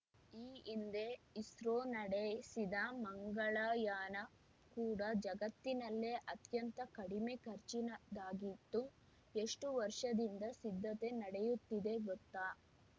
ಈ ಹಿಂದೆ ಇಸ್ರೋ ನಡೆಸಿದ ಮಂಗಳಯಾನ ಕೂಡ ಜಗತ್ತಿನಲ್ಲೇ ಅತ್ಯಂತ ಕಡಿಮೆ ಖರ್ಚಿನದಾಗಿತ್ತು ಎಷ್ಟುವರ್ಷದಿಂದ ಸಿದ್ಧತೆ ನಡೆಯುತ್ತಿದೆ ಗೊತ್ತಾ